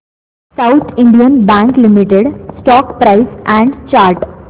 south Indian Bank Limited stock price and chart